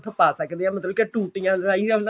ਪਾ ਸਕਦੇ ਆਂ ਮਤਲਬ ਟੁੱਟੀਆਂ ਰਾਹੀਂ